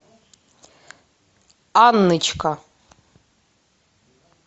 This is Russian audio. анночка